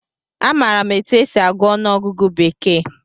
Amaara m etu e si agụ ọnụọgụgụ bekee